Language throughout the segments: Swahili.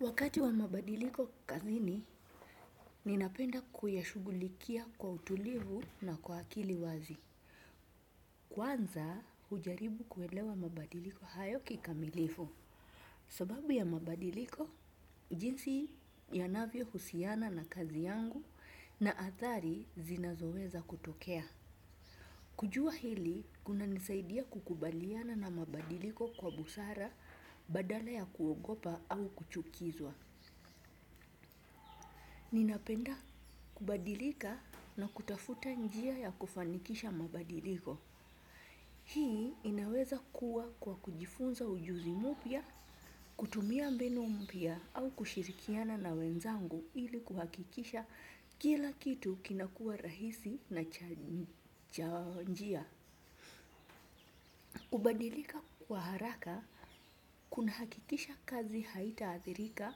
Wakati wa mabadiliko kazini, ninapenda kuyashugulikia kwa utulivu na kwa akili wazi. Kwanza, ujaribu kuelewa mabadiliko hayo kikamilifu. Sababu ya mabadiliko, jinsi ya navyo husiana na kazi yangu na athari zinazoweza kutokea. Kujua hili, kuna nisaidia kukubaliana na mabadiliko kwa busara badala ya kuogopa au kuchukizwa. Ninapenda kubadilika na kutafuta njia ya kufanikisha mabadiliko. Hii inaweza kuwa kwa kujifunza ujuzi mupya, kutumia mbinu mpya au kushirikiana na wenzangu ili kuhakikisha kila kitu kinakua rahisi na cha njia. Kubadilika kwa haraka, kuna hakikisha kazi haita adhirika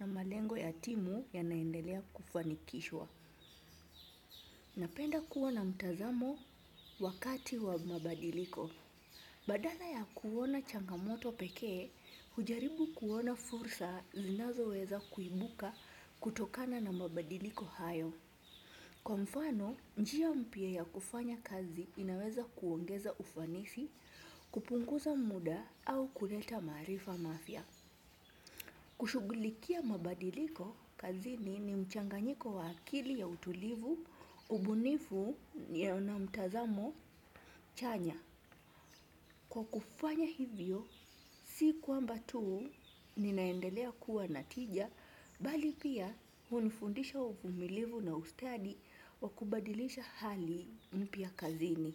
na malengo ya timu ya naendelea kufanikishwa. Napenda kuona mtazamo wakati wa mabadiliko. Badala ya kuona changamoto pekee, hujaribu kuona fursa zinazo weza kuibuka kutokana na mabadiliko hayo. Kwa mfano, njia mpya ya kufanya kazi inaweza kuongeza ufanisi, kupunguza muda au kuleta maarifa mafia. Kushugulikia mabadiliko kazini ni mchanganyiko wa akili ya utulivu, ubunifu nia na mtazamo chanya. Kwa kufanya hivyo, si kwamba tuu ninaendelea kuwa natija, bali pia hunifundisha uvumilivu na ustadi wa kubadilisha hali mpya kazini.